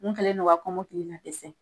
Mun kɛlen don ka kɔmɔkili ninnu dɛsɛ.